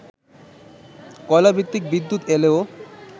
কয়লাভিত্তিক বিদ্যুৎ এলেও